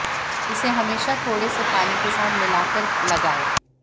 इसे हमेशा थोड़े से पानी के साथ मिला कर लगाएं